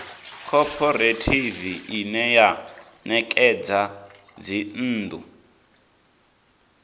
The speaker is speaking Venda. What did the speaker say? khophorethivi ine ya ṋekedza dzinnḓu